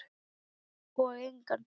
Og engan.